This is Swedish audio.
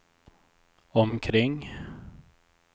omkring